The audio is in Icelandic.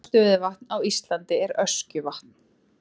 Dýpsta stöðuvatn á Íslandi er Öskjuvatn.